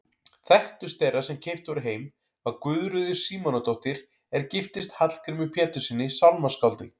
Þekktust þeirra sem keypt voru heim var Guðríður Símonardóttir er giftist Hallgrími Péturssyni sálmaskáldi.